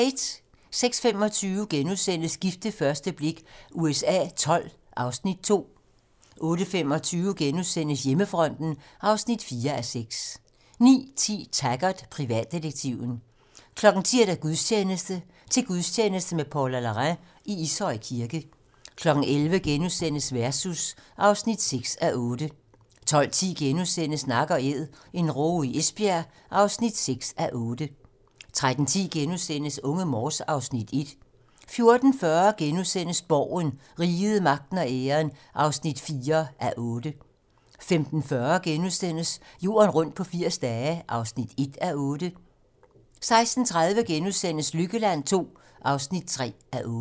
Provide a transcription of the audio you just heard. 06:25: Gift ved første blik USA XII (Afs. 2)* 08:25: Hjemmefronten (4:6)* 09:10: Taggart: Privatdetektiven 10:00: Gudstjeneste: Til gudstjeneste med Paula Larrain i Ishøj Kirke 11:00: Versus (3:8)* 12:10: Nak & æd - en råge i Esbjerg (6:8)* 13:10: Unge Morse (Afs. 1)* 14:40: Borgen - Riget, magten og æren (4:8)* 15:40: Jorden rundt på 80 dage (1:8)* 16:30: Lykkeland II (3:8)*